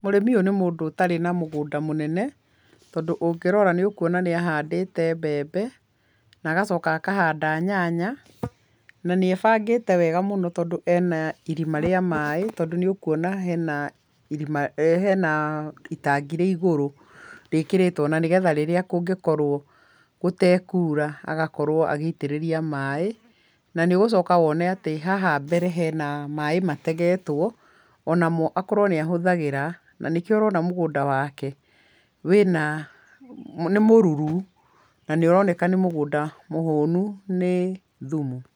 Mũrĩmi ũyũ nĩ mũndũ ũtarĩ na mũgũnda mũnene, tondũ ũngĩrora nĩũkuona nĩ ahandĩte mbembe na agacoka akahanda nyanya, na nĩ ebangĩte wega mũno tondũ ena irima rĩa maaĩ tondũ nĩ ũkuona hena itangi rĩ igũrũ, rĩĩkĩrĩtwo na nĩ getha rĩrĩa kũngĩkorwo gũtekuura agakorwo agĩitĩrĩria maaĩ, na nĩ ũgũcoka wone at haha mbere hena maaĩ mategetwo, onamo akorwo nĩ ahũthagĩra na nĩkĩo ũrona mũgũnda waake nĩ mũruru na nĩ ũroneka nĩ mũgũnda mũhũnu nĩ thumu.